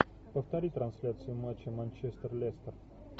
повтори трансляцию матча манчестер лестер